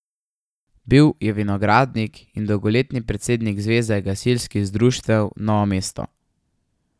Bil je vinogradnik in dolgoletni predsednik zveze gasilskih društev Novo mesto.